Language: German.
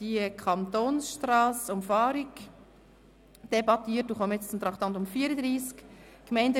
Wir debattierten gestern die Umfahrung der Kantonsstrasse und kommen jetzt zum Traktandum 34: